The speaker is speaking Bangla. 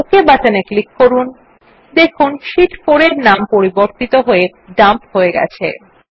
ওক বাটনে ক্লিক করুন দেখুন শীট 4 ট্যাবের নাম পরিবর্তিত হয়ে ডাম্প হয়ে গেছে